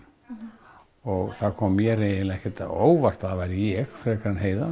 og það kom mér ekkert á óvart að það væri ég frekar en Heiða